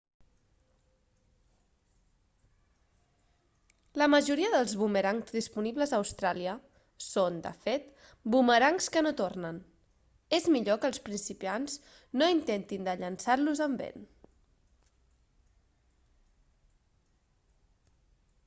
la majoria dels bumerangs disponibles a austràlia són de fet bumerangs que no tornen és millor que els principiants no intentin de llançar-los amb vent